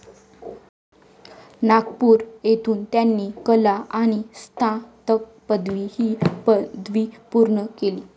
नागपूर येथून त्यांनी कला आणि स्नातक पदवी ही पदवी पूर्ण केली.